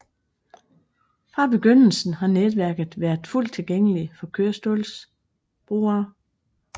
Fra begyndelsen har netværket været fuldt tilgængelig for kørestolsbrugere